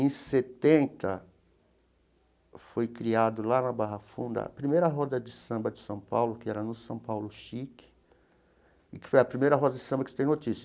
Em setenta, foi criado, lá na Barra Funda, a primeira roda de samba de São Paulo, que era no São Paulo Chique, e que foi a primeira roda de samba que se tem notícia.